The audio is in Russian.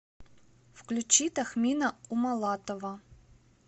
включи тахмина умалатова